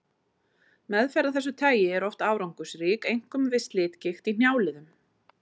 Meðferð af þessu tagi er oft árangursrík, einkum við slitgigt í hnjáliðum.